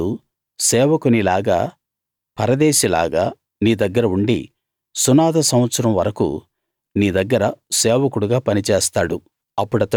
వాడు సేవకునిలాగా పరదేశిలాగా నీ దగ్గర ఉండి సునాద సంవత్సరం వరకూ నీ దగ్గర సేవకుడుగా పని చేస్తాడు